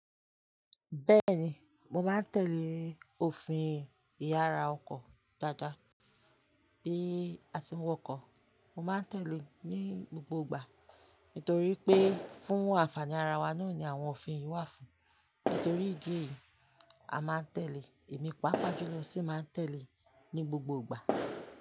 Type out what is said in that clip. Bẹ́ẹ̀ni, mo máa ń tẹ̀lé òfin ìyára ọkọ̀ dáadáa bí a ti ń wọkọ̀. Mo máa ń tẹ̀lé ní gbogbo ìgbà torí pé fún àǹfààní ara wa nù ni àwọn òfin yìí wà fún. Nítorí ìdí èyí, a máa ń tẹ̀lé èmi pàápàá jùlọ sì máa ń tẹ̀lé ní gbogbo ìgbà.